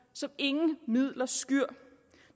som ingen midler skyr